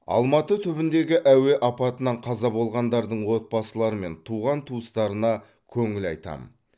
алматы түбіндегі әуе апатынан қаза болғандардың отбасылары мен туған туыстарына көңіл айтамын